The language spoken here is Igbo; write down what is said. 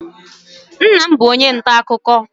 nna m bu onye nta-akụkọ